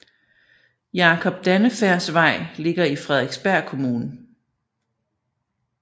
Jakob Dannefærds Vej ligger i Frederiksberg Kommune